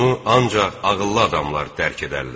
Bunu ancaq ağıllı adamlar dərk edərlər.